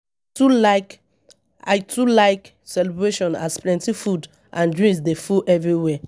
too like, I too like celebrations as plenty food and drink dey full everywhere.